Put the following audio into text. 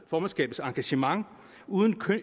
formandskabets engagement uden